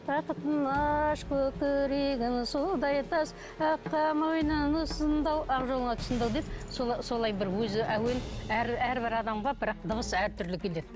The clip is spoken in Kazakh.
бақытын аш көкірегін судай тас аққа мойнын ұсынды ау ақ жолыңа тұсындау деп солай бір өзі әуен әрбір адамға бірақ дыбыс әртүрлі келеді